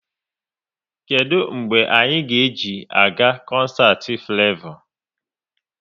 Kedụ mgbe anyị ga eji a ga koncert Flevo?